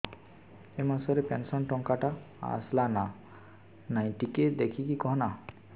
ଏ ମାସ ରେ ପେନସନ ଟଙ୍କା ଟା ଆସଲା ନା ନାଇଁ ଟିକେ ଦେଖିକି କହନା